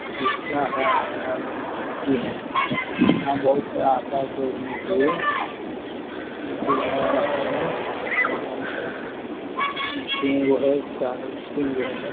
शिशा है आगे खिड़की है यहाँ बहुत सारा आता है दौड़ने के लिए दौड़ने वाला सब है मशीन सब तीन गो है चार गो तीन गो है ।